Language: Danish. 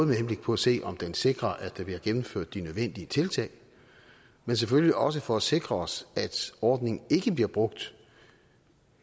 med henblik på at se om den sikrer at der bliver gennemført de nødvendige tiltag men selvfølgelig også for at sikre os at ordningen ikke bliver brugt